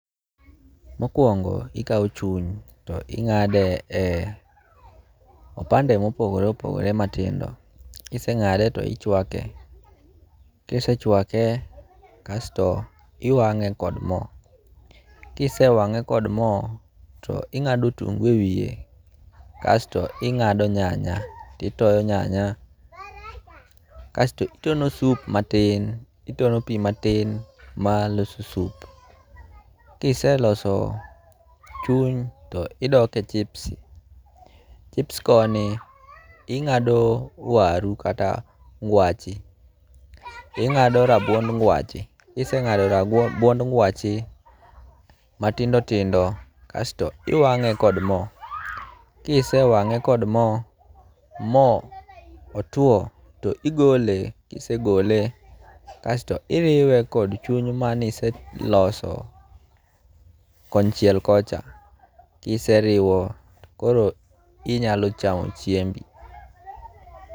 Mokwongo ikaw chuny to ing'ade e opande mopogore opogore matindo. Kiseng'ade to ichwake. Kisechwake kasto iwang'e kod mo. Kisewange kod mo to ing'ado otungu e wiye kasto ing'ado nyanya titoyo nyanya. Kasto itono sup matin itono pi matin maloso sup. Kiseloso chuny to idok e chips. Chips koni ing'ado waru kata ngwache , ing'ado rabuond ngwache matindo tindo kaso iwang'e kod mo. Kisewang'e kod mo, mo otuo to igole. Kisegole kasto iriwe kod chuny maniseloso konchiel kocha. Kiseriwo to koro inyalo chamo chiembi.